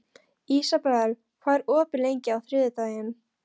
Ísabel, hvað er opið lengi á þriðjudaginn?